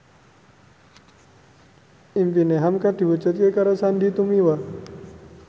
impine hamka diwujudke karo Sandy Tumiwa